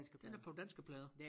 Den er på danske plader